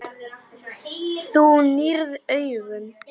Þú nýrð augun.